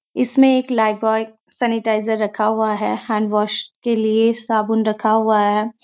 इसमें एक Lifebuoy sanitizer रखा हुआ है हैंडवाश के लिया साबुन भी रखा है।